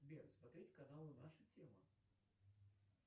сбер смотреть каналы наша тема